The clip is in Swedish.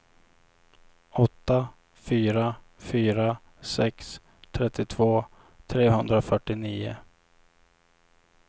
åtta fyra fyra sex trettiotvå trehundrafyrtionio